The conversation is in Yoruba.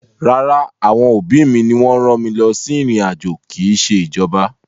Rárá, àwọn òbí mi ni wọ́n rán mi lọ sí ìrìn-àjò, kì í ṣe ìjọba.